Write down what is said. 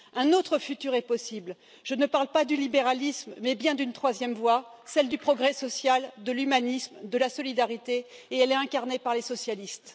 Un autre futur est possible, je ne parle pas du libéralisme, mais bien d'une troisième voie, celle du progrès social, de l'humanisme, de la solidarité et elle est incarnée par les socialistes.